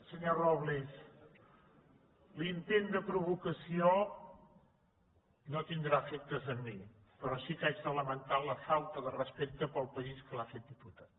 senyor robles l’intent de pro·vocació no tindrà efectes en mi però sí que haig de la·mentar la falta de respecte pel país que l’ha fet diputat